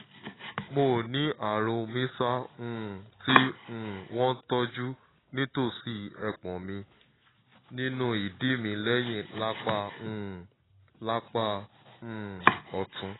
mo ní ààrùn mrsa um tí um wọ́n tọ́jú nítòsí ẹpọ̀n mi nínú ìdí mi lẹ́yìn lápá um lápá um ọ̀tún